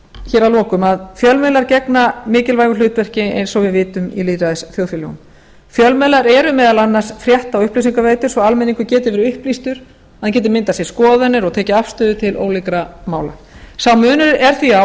hér að lokum að fjölmiðlar gegna mikilvægu hlutverki eins og við vitum í lýðræðisþjóðfélögum fjölmiðlar eru meðal annars frétta og upplýsingaveitur svo að almenningur geti verið upplýstur að hann geti myndað sér skoðanir og tekið afstöðu til ólíkra mála sá munur er því á